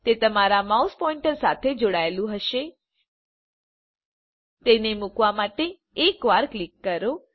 તે તમારા mouse pointer સાથે જોડાયેલું હશે તેને મૂકવા માટે એક વાર ક્લિક કરો